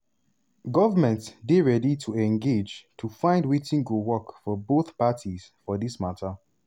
"govment dey ready to engage to find wetin go work for both parties for dis mata."